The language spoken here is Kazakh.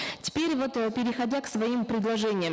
теперь вот э переходя к своим предложениям